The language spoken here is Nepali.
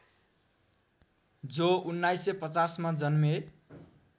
जो १९५० मा जन्मे